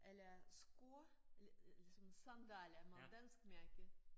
Eller sko eller eller sådan sandaler med dansk mærke